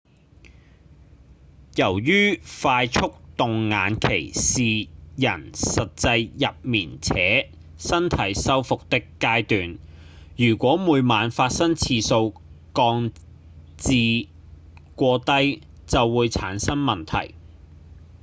由於快速動眼期是人實際入眠且身體修復的階段如果每晚發生次數降至過低就會產生問題